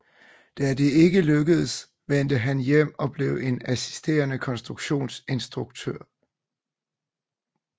Da det ikke lykkedes vendte han hjem og blev en assisterende konstruktions ingeniør på jernbane indtil 1854